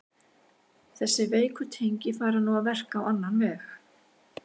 Þessi veiku tengi fara nú að verka á annan veg.